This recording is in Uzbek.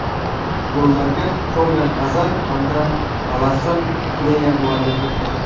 Gollarga Torgan Azar hamda Alasson Plea mualliflik qildi.